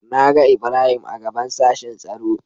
Na ga Ibrahim a gaɓan sashin tsaro.